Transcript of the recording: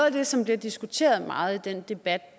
af det som bliver diskuteret meget i den debat